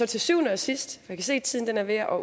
til syvende og sidst jeg kan se at tiden er ved at